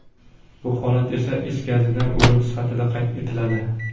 Bu holat esa is gazidan o‘lim sifatida qayd etiladi.